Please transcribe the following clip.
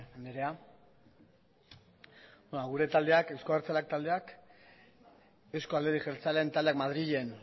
andrea gure taldeak euzko abertzaleak taldeak eusko alderdi jeltzaleen taldeak madrilen